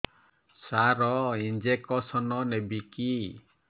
ସାର injection ନେବିକି